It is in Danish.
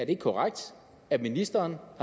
ikke korrekt at ministeren